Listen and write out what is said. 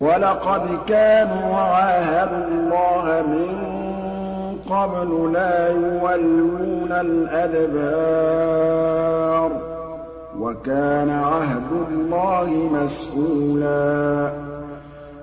وَلَقَدْ كَانُوا عَاهَدُوا اللَّهَ مِن قَبْلُ لَا يُوَلُّونَ الْأَدْبَارَ ۚ وَكَانَ عَهْدُ اللَّهِ مَسْئُولًا